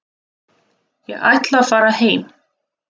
Ég ætla að fara heim.